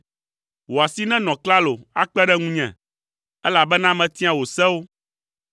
Wò asi nenɔ klalo akpe ɖe ŋunye, elabena metia wò sewo.